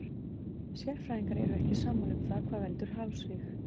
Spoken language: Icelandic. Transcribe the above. Sérfræðingar eru ekki sammála um það hvað veldur hálsríg.